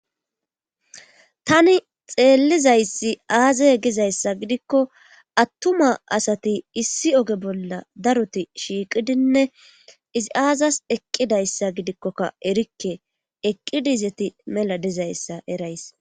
tani xeellizayssi aazay gizayssa gidikko attuma asati issi oge bolla daroti shiiqidinne izi aazas eqqidayssa gidikkoka erikke eqqidizeti mela dizayssa erays